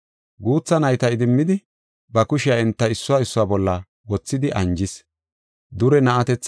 Guutha nayta idimmidi, ba kushiya enta issuwa issuwa bolla wothidi anjis.